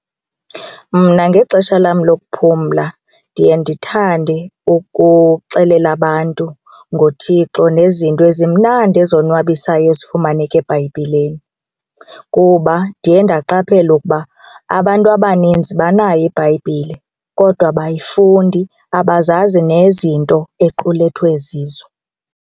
Mna ngexesha lam lokuphumla ndiye ndithande ukuxelela abantu ngoThixo nezinto ezimnandi ezonwabisayo ezifumaneka eBhayibhileni kuba ndiye ndaqaphela ukuba abantu abaninzi banayo iBhayibhile kodwa abayifundi abazazi nezinto equlethwe zizo.